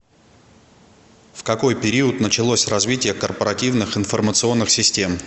в какой период началось развитие корпоративных информационных систем